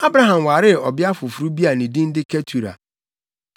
Abraham waree ɔbea foforo bi a ne din de Ketura.